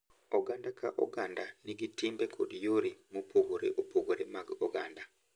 Oganda ka oganda nigi timbe kod yore mopogore opogore mag oganda,